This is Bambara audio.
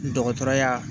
Dɔgɔtɔrɔya